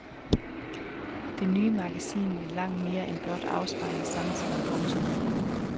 Det nye magasin ville langt mere end blot afspejle samtiden. punktum